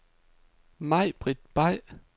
Majbrit Bay